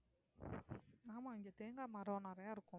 ஆமா இங்க தேங்காய் மரம் நிறைய இருக்கும்